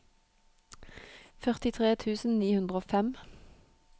førtitre tusen ni hundre og fem